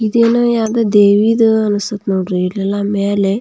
ಇದು ಏನೋ ಯಾವುದೊ ದೇವಿದು ಅನ್ಸ್ತಾಸ್ಥೆ ಮೇಲೆ --